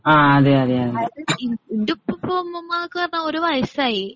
അതായത് ഇന്റുപ്പൂപ്പാ ഉമ്മൂമ്മ ഒക്കെ പറഞ്ഞാൽ ഓര് വയസ്സായി